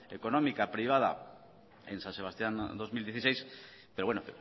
económica privada en san sebastián dos mil dieciséis pero bueno